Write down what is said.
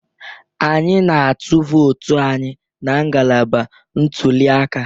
Anyị na-atụ vootu anyị na ngalaba ntuliaka.